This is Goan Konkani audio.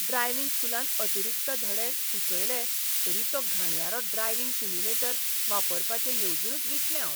ड्रायव्हिंग स्कूलान अतिरिक्त धडे सुचयले तरी तो घाणयारो ड्रायव्हिंग सिम्युलेटर वापरपाचें येवजूनच विटलें हांव.